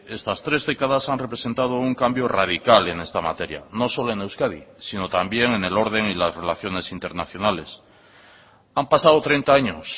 estas tres décadas han representado un cambio radical en esta materia no solo en euskadi sino también en el orden y las relaciones internacionales han pasado treinta años